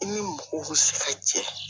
I ni mɔgɔw bi se ka jɛ